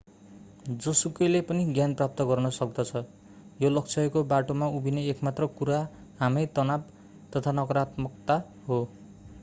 जोसुकैले पनि ज्ञान प्राप्त गर्न सक्दछ यो लक्ष्यको बाटोमा उभिने एक मात्र कुरा हामै तनाव तथा नकारात्मकता हो